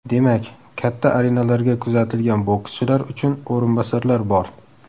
Demak, katta arenalarga kuzatilgan bokschilar uchun o‘rinbosarlar bor.